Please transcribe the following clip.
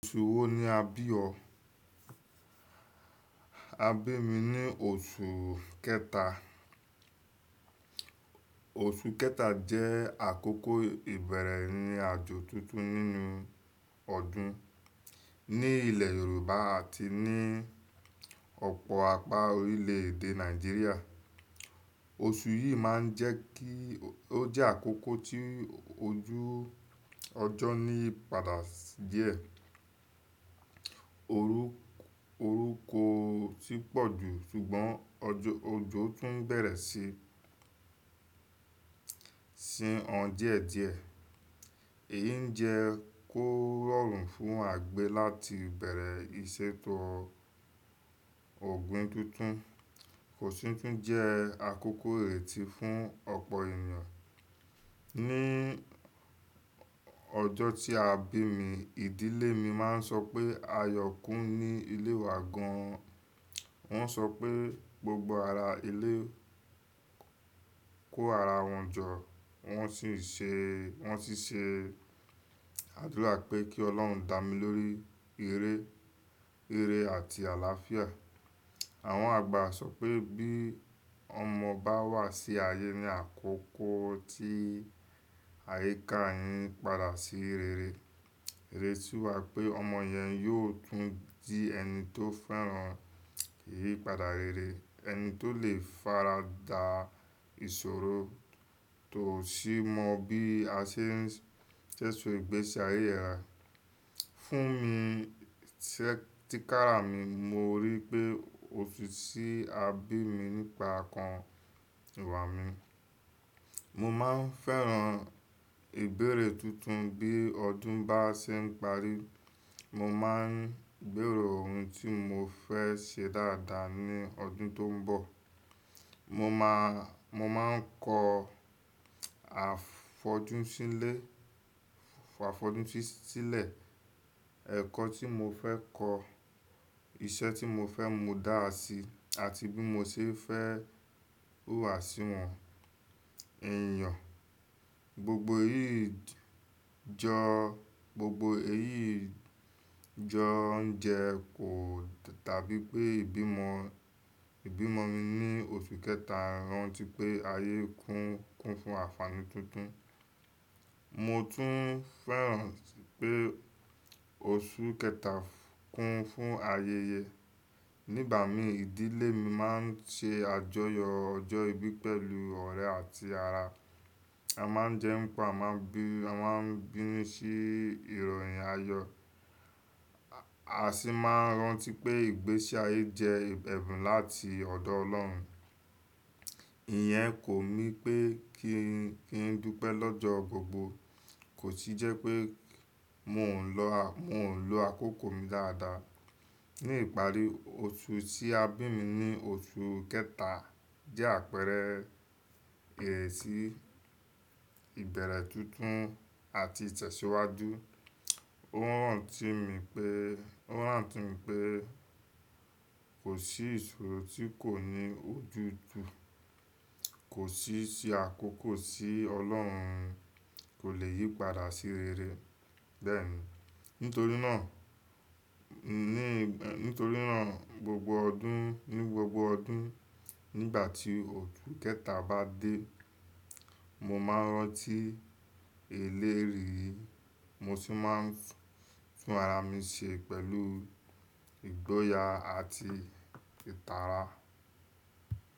Oṣù wo ni a bí ọ? A bí mi ní oṣù kẹta. Oṣù kẹta jẹ́ àkókò ìbẹ̀rẹ̀ ní àjọ tuntun nínú ọdún. Ni ilẹ̀ Yorùbá àti ni ọ̀pọ̀ apá orílẹ̀ èdè Nàìjíríà. Oṣù yìí máa ń jẹ́ kí ó jẹ́ àkókò tí ojú ọjọ́ ni padà díẹ̀. Orúkọ ó tì pọ̀ jù, ṣùgbọ́n òjò tún bẹ̀rẹ̀ sí sin ọ díẹ̀ díẹ̀. Èyí jẹ́ kó rọrùn fún àgbẹ̀ láti bẹ̀rẹ̀ ìṣètọ̀ ọ̀gbìn tuntun, kò sì tún jẹ́ àkókò èéti fún ọ̀pọ̀ ènìyàn. Ni ọjọ́ tí a bí mi, ìdílé mi máa ń sọ pé a yọ̀ kún ní ilé wa gan-an. Wọ́n sọ pé gbogbo ara ilé kó ara wọn jọ, wọ́n sì ṣe àdúrà pé kí Ọlọ́run dá mi lórí ìre, ìre àti àlàáfíà. Àwọn àgbà sọ pé bí ọmọ bá wà sí ayé ní àkókò tí àyíká ayé padà sí rere, ìrètí wà pé ọmọ yẹn yóò tún di ẹni tó fẹ́ràn ìyípadà rere, ẹni tó lè fara da ìṣòro tó sì mọ bí a ṣe ń sẹ̀sẹ̀ gbèsì ayé ra. Fún mi, ṣẹ́ tí kára mi, mo rí i pé oṣù tí a bí mi nípa kan ìwà mi. Mo máa ń fẹ́ràn ìbẹ̀rẹ̀ tuntun. Bí ọdún bá ṣe ń parí, mo máa ń gbèrò ohun tí mo fẹ́ ṣe dáadáa ní ọdún tó ń bọ̀. Mo máa ń kọ àfọjú sílẹ̀, ẹ̀kọ́ tí mo fẹ́ kọ́, iṣẹ́ tí mo fẹ́ mú dáàsí àti bí mo ṣe fẹ́ wà síwọn ènìyàn. Gbogbo èyí jọ ń jẹ́ kó tàbí pé ìbí ọmọ mi ní oṣù kẹta rán tí pé ayé kún fún àfààní tuntun. Mo tún fẹ́ràn tí pé oṣù kẹta kún fún ayẹyẹ. Nígbà mi, ìdílé mi máa ń ṣe àjọyọ̀ ọjọ́ ìbí pẹ̀lú ọ̀rẹ́ àti ara. A máa ń jẹun pá, a máa ń bínú sí ìròyìn ayọ̀. A sì máa ń rántí pé ìgbésí ayé jẹ́ ẹ̀bùn láti ọ̀dọ̀ Ọlọ́run. Ìyẹn kò mí pé kí n dúpẹ́ lọ́jọ́ gbogbo, kò sì jẹ́ pé mò ń lo àkókò mi dáadáa. Ni ìparí, oṣù tí a bí mi ní oṣù kẹta jẹ́ àpẹẹrẹ ìrètì ìbẹ̀rẹ̀ tuntun àti ìtẹ̀síwájú. Ó rán ti mi pé kò sí ìṣòro tí kò ní ojúju, kò sì ṣe àkókò tí Ọlọ́run kò lè yí padà sí rere. Bẹ́ẹ̀ni, nítorí náà ní gbogbo ọdún nígbà tí oṣù kẹta bá dé, mo máa ń rántí ìlérí yìí, mo sì máa ń fún ara mi ṣe pẹ̀lú ìgboyà àti ìtara.